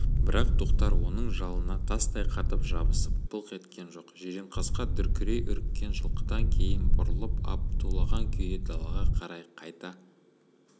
бірақ тоқтар оның жалына тастай қатып жабысып былқ еткен жоқ жиренқасқа дүркірей үріккен жылқыдан кейін бұрылып ап тулаған күйі далаға қарай қайта